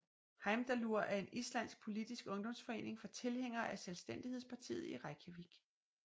Heimdallur er en islandsk politisk ungdomsforening for tilhængere af Selvstændighedspartiet i Reykjavík